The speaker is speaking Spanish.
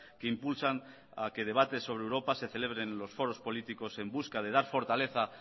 que impulsan a que debate sobre europa se celebren los foros políticos en busca de dar fortaleza